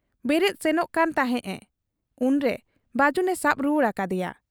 ᱵᱮᱨᱮᱫ ᱥᱮᱱᱚᱜ ᱠᱟᱱ ᱛᱟᱦᱮᱸᱫ ᱮ ᱾ ᱩᱱᱨᱮ ᱵᱟᱹᱡᱩᱱᱮ ᱥᱟᱵ ᱨᱩᱣᱟᱹᱲ ᱟᱠᱟᱫ ᱮᱭᱟ ᱾